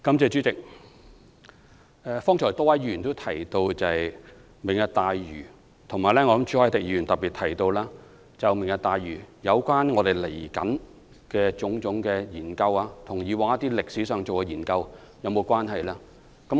主席，剛才多位議員提到"明日大嶼"，朱凱廸議員特別提到有關"明日大嶼"未來的種種研究和以往進行的研究是否有關係。